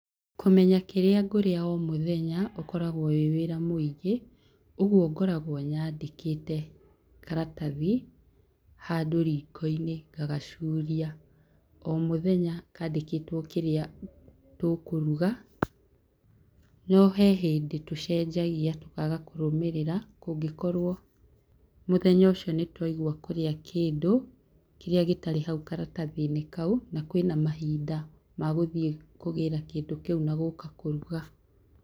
Kũmenya kĩrĩa ngũrĩa o mũthenya, ũkoragwo wĩ wĩra mũingĩ. Ũguo ngoragwo nyandÍĩkĩte karatathi handũ riko-inĩ, ngagacuria. O mũthenya kaandĩkĩtwo kĩrĩa tũkũruga. No he hĩndĩ tũcenjagia tũkaaga kũrũmĩrĩra, kũngĩkorwo mũthenya ũcio nĩ twaigua kũrĩa kĩndũ kĩrĩa gĩtarĩ hau karatathi-inĩ kau, na kwĩna mahinda, ma gũthiĩ kũgĩra kĩndũ kĩu na gũũka kũruga.